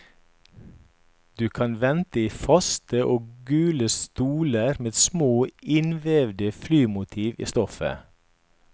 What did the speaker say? Du kan vente i faste og gule stoler med små innvevede flymotiv i stoffet.